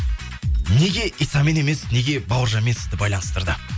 неге исамен емес неге бауыржанмен сізді байланыстырды